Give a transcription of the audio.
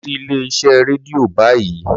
Lọ sí ilé-iṣẹ́ rédíò báyìí!